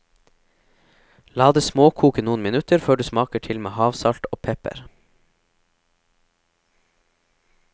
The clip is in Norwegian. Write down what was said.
La det småkoke noen minutter før du smaker til med havsalt og pepper.